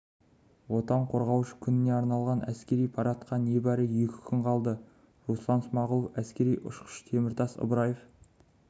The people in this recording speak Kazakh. отан қорғаушы күніне арналған әскери парадқа небәрі екі күн қалды руслан смағұлов әскери ұшқыш теміртас ыбраев